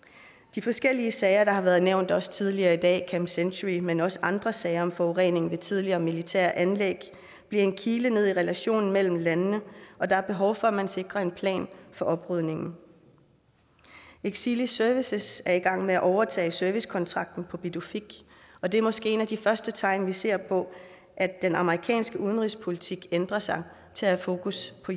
de forskellige sager der har været nævnt også tidligere i dag camp century men også andre sager om forurening ved tidligere militære anlæg bliver en kile ned i relationen mellem landene og der er behov for at man sikrer en plan for oprydningen exelis services er i gang med at overtage servicekontrakten på pituffik og det er måske et af de første tegn vi ser på at den amerikanske udenrigspolitik ændrer sig til at have fokus på